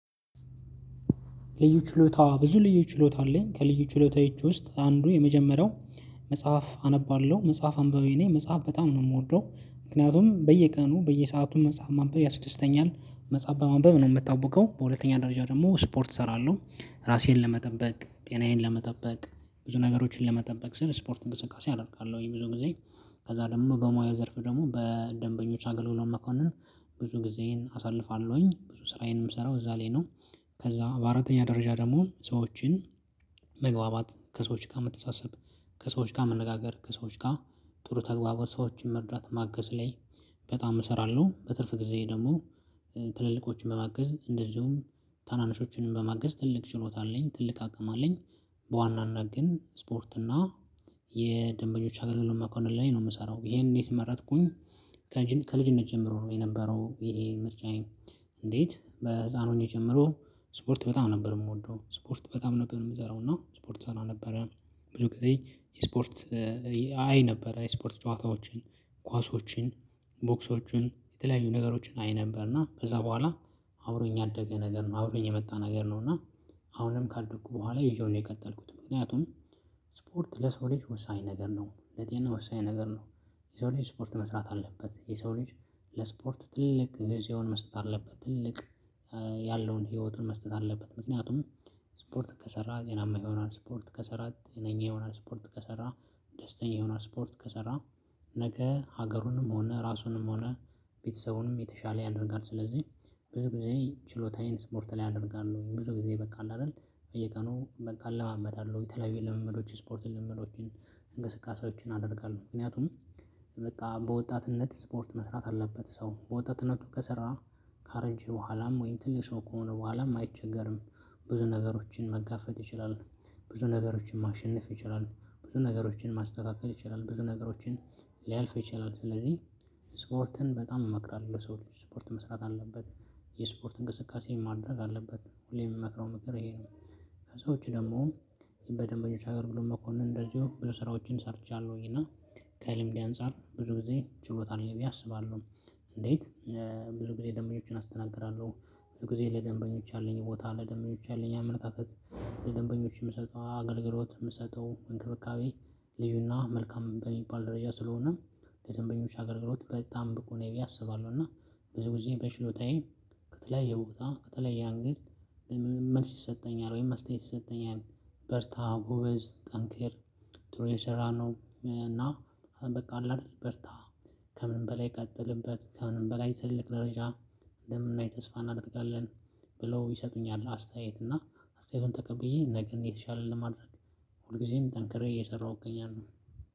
ልዩ ችሎታ ብዙ ልዩ ችሎታ አለኝ ከልዩ ችሎታዬ ውስጥ አንዱ የመጀመሪያው መጽሐፍ አነባለሁ መጽሐፍ አንባቢ ነኝ። መጽሐፍ በጣም ነው የምወደው ምክንያቱም በየቀኑ በየሰአቱም መጽሐፍ ማንበብ ያስደስተኛል መጽሐፍ በማንበብ ነው የምታውቀው። በሁለተኛ ደረጃ ደግሞ ስፖርት እሰራለሁ ራሴን ለመጠበቅ ጤናዬን ለመጠበቅ ብዙ ነገሮችን ለመጠበቅ ስል ስፖርት እንቅስቃሴ አደርጋለሁኝ ብዙ ጊዜ። ከዛ ደግሞ በሙያ ዘርፍ ደግሞ በደንበኞች አገልግሎት መኮንን ብዙ ጊዜን አሳልፋለሁኝ ብዙ ስራዬንም እሰራው እዛ ላይ ነው። ከዛ በአራተኛ ደረጃ ደግሞ ሰዎችን መግባባት ከሰዎች ጋር መተሳሰብ ከሰዎች ጋር መነጋገር ከሰዎች ጋር ጥሩ ተግባባቶ ሰዎችን መርዳት ማገዝ ላይ። በጣም እሰራለሁ በትርፍ ጊዜ ደግሞ። ትልልቆችን በማገዝ እንደዚሁም ታናንሾችንም በማገዝ ትልቅ ችሎታ አለኝ ትልቅ አቅም አለኝ። በዋናነት ግን ስፖርትና የደንበኞች አገልግሎት መኮንን ላይ ነው የምሰራው። ይሄን እንዴት መረጥኩኝ? ከልጅነት ጀምሮ ነው የነበረው ይሄ ምርጫኔ የኔ። እንዴት በህፃን ሆኜ ጀምሮ ስፖርት በጣም ነበር የምወደው ስፖርት በጣም ነበር የምሰራው እና ስፖርት እሰራ ነበረ። ብዙ ጊዜ የስፖርት አይ ነበር የስፖርት ጨዋታዎችን ኳሶችን ቦክሶችን የተለያዩ ነገሮችን አይ ነበር እና ከዛ በኋላ። አብሮኝ ያደገ ነገር ነው አብሮኝ የመጣ ነገር ነው። እና አሁንም ካደኩ በኋላ ይዤው ነው የቀጠልኩት። ምክንያቱም ስፖርት ለሰው ልጅ ወሳኝ ነገር ነው ለጤና ወሳኝ ነገር ነው። የሰው ልጅ ስፖርት መስራት አለበት የሰው ልጅ። ለስፖርት ትልቅ ጊዜውን መስጠት አለበት ትልቅ። ያለውን ህይወቱን መስጠት አለበት። ምክንያቱም ስፖርት ከሰራ ጤናማ ይሆናል። ስፖርት ከሰራ ጤናኛ ይሆናል። ስፖርት ከሰራ ደስተኛ ይሆናል። ስፖርት ከሰራ ነገ ሀገሩንም ሆነ ራሱንም ሆነ ቤተሰቡንም የተሻለ ያደርጋል። ስለዚህ ብዙ ጊዜ ችሎታዬን ስፖርት ላይ አደርጋለው። ብዙ ጊዜ በቃ አይደል? በየቀኑ በቃ እለማመዳለሁ የተለያዩ ልምምዶች ስፖርት ልምምዶችን እንግስቃሴዎችን አደርጋለሁ። ምክንያቱም በቃ በወጣትነት ስፖርት መስራት አለበት ሰው በወጣትነቱ ከሰራ። ካረጀ በኋላም ወይም ትልቅ ሰው ከሆነ በኋላም አይቸገርም። ብዙ ነገሮችን መጋፈጥ ይችላል። ብዙ ነገሮችን ማሸነፍ ይችላል ብዙ ነገሮችን ማስተካከል ይችላል ብዙ ነገሮችን ሊያልፍ ይችላል። ስለዚህ ስፖርትን በጣም እመክራለሁ ለሰው ልጅ ስፖርት መስራት አለበት። የስፖርት እንቅስቃሴ ማድረግ አለበት ሁሌም የምመክረው ምክር ይሄ ነው። ከሰዎች ደግሞ በደንብ እየተሻገርኩኝ እንደዚሁ ብዙ ስራዎችን ሰርቻለሁኝ። እና ከልምዴ አንፃር ብዙ ጊዜ ችሎታ አለኝ ብዬ አስባለሁ። እንዴት? ብዙ ጊዜ ደንበኞችን አስተናግራለሁ። ብዙ ጊዜ ለደንበኞች ያለኝ ቦታ ለደንበኞች ያለኝ አመለካከት። ለደንበኞች የምሰጠው አገልግሎት የምሰጠው እንክብካቤ ልዩና መልካም በሚባል ደረጃ ስለሆነ። ለደንበኞች አገልግሎት በጣም ብቁ ነኝ ብዬ አሰባለው። እና ብዙ ጊዜ በችሎታዬ ከተለያየ ቦታ ከተለያየ አንግል መልስ ይሰጠኛል ወይም አስተያየት ይሰጠኛል። በርታ ጎበዝ ጠንክር። ጥሩ እየሰራህ ነው እና። በቃ አለ አይደል በርታ። ከምንም በላይ ቀጥልበት ከምንም በላይ ትልቅ ደረጃ። እንደምናይ ተስፋ እናደርጋለን። ብለው ይሰጡኛል አስተያየት እና አስተያየቱን ተቀብዬ ነገን የተሻለ ለማድረግ። ሁልጊዜም ጠንክሬ እየሰራሁኝ እገኛለው።